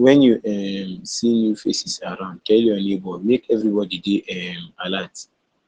wen you um see new faces around tell your neighbor make everybody dey um alert